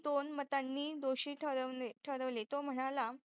दोन मतांनी दोषी ठरवले तो म्हणाला